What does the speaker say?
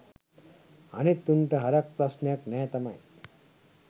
අනිත් උන්ට හරක් ප්‍රශ්නයක් නෑ තමයි